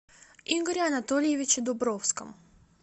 игоре анатольевиче дубровском